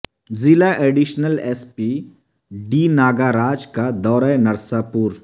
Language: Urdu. ضلع additional S P D Nagaraj کا دورہ نرساپور